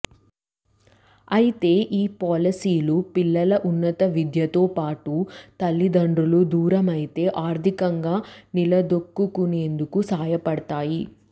అయితే ఈ పాలసీలు పిల్లల ఉన్నత విద్యతో పాటు తల్లిదండ్రులు దూరమైతే ఆర్థికంగా నిలదొక్కుకునేందుకు సాయపడతాయి